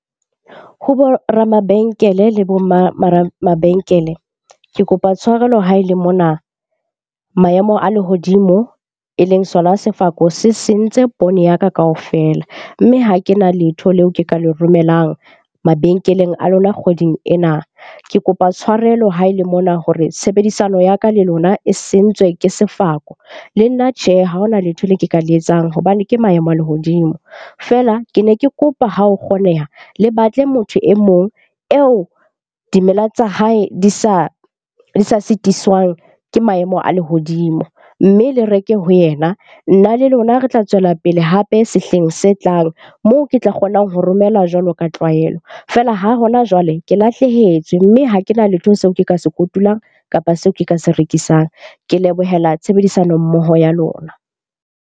Ho bo ramabenkele le bo ma mabenkele, ke kopa tshwarelo ha e le mona maemo a lehodimo e leng sona sefako se sentse poone ya ka kaofela. Mme ha ke na letho leo ke ka le romelang mabenkeleng a lona kgweding ena. Ke kopa tshwarelo ha e le mona hore tshebedisano ya ka le lona e sentswe ke sefako. Le nna, tjhe, ha hona letho le ke ka le etsang hobane ke maemo a lehodimo. Feela, ke ne ke kopa ha ho kgoneha, le batle motho e mong eo dimela tsa hae di sa sitiswang ke maemo a lehodimo. Mme le reke ho yena. Nna le lona re tla tswela pele hape sehleng se tlang moo ke tla kgonang ho romela jwalo ka tlwaelo. Feela ha hona jwale, ke lahlehetswe mme ha ke na letho seo ke ka se kotulang kapa seo ke ka se rekisang. Ke lebohela tshebedisano mmoho ya lona.